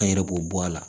An yɛrɛ b'o bɔ a la